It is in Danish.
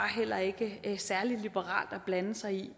heller ikke særlig liberalt at blande sig i